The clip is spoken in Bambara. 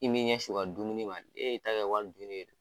I m'i ɲɛn sin u ka dumuni ma, e y'i ta kɛ wari dunni ye.